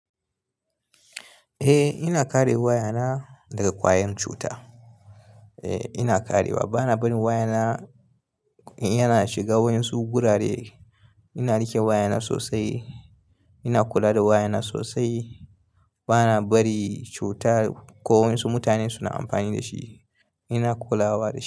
Eh ina kare wayana daga kwayan cuta. Eh ina karewa. Bana barin wayana in yana shiga waensu gurare. Ina rike wayana sosai. Ina kula da wayana sosai. Bana bari cuta ko wani su mutane suna amfani da shi. Ina kulawa da shi.